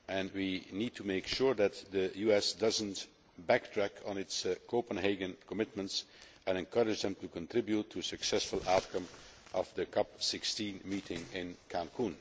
We need to make sure that the US does not back track on its Copenhagen commitments and we must encourage them to contribute to a successful outcome of the COP 16 meeting in Cancún.